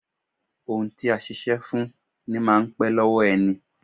Ohun a ṣiṣẹ́ fún ní máa n pẹ́ lọ́wọ́ ẹni